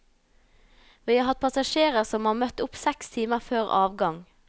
Vi har hatt passasjerer som har møtt opp seks timer før avgang.